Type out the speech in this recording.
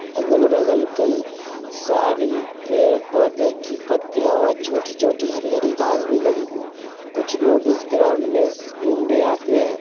अगल बगल कई सारी पेड़ पौधे की पत्तियां बहुत छोटी-छोटी हरी-हरी घास भी लगी हुई है। कुछ लोग इस ग्राउंड में घूमने आते है।